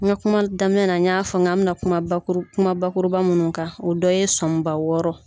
N ka kuma daminɛ na n y'a fɔ n k'an mɛ na kuma bakuru kuma bakuruba mun kan o dɔ ye sɔniba wɔɔrɔ ye.